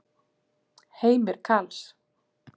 Heimir Karls.